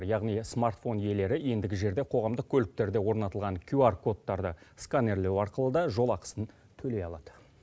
яғни смартфон иелері ендігі жерде қоғамдық көліктерде орнатылған кюар кодтарды сканерлеу арқылы да жолақысын төлей алады